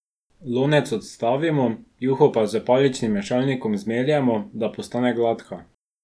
Lonec odstavimo, juho pa s paličnim mešalnikom zmeljemo, da postane gladka.